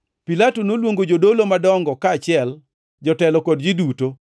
Pilato noluongo jodolo madongo kaachiel, jotelo kod ji duto,